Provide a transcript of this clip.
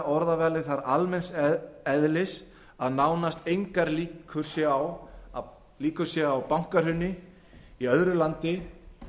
orðavalið þar svo almenns eðlis að nánast engar líkur séu á bankahruni í öðru landi